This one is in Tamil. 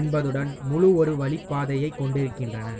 என்பதுடன் முழு ஒருவழிப் பாதையைக் கொண்டிருக்கின்றன